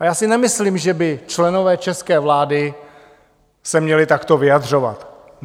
A já si nemyslím, že by členové české vlády se měli takto vyjadřovat.